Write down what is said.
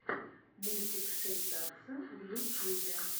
мультик шейтадса в ютьюбе